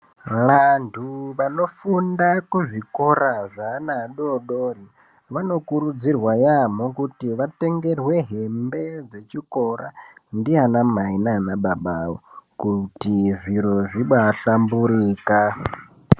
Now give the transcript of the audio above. Vantu vanofunda kuzvikora zvevana vadodori vanokurudzirwa yambo vatengerwe hembe dzechikora ndiana Mai nana baba Ako kuti zviro zvabahlamburuka.